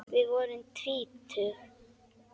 Við vorum tvítug.